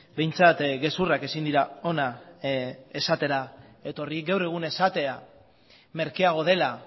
behintzat gezurrak ezin dira hona esatera etorri gaur egun esatea merkeago dela